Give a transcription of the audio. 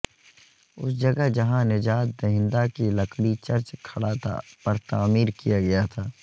اس جگہ جہاں نجات دہندہ کی لکڑی چرچ کھڑا تھا پر تعمیر کیا گیا تھا